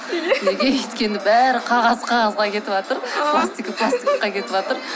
неге неге өйткені бәрі қағаз қағазға кетіватыр пластик пластикқа кетіватыр